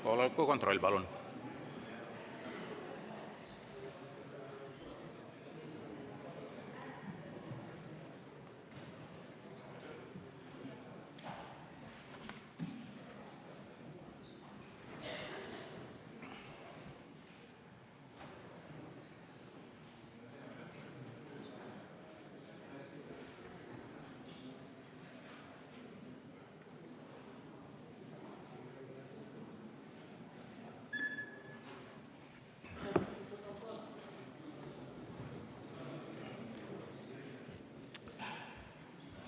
Kohaloleku kontroll, palun!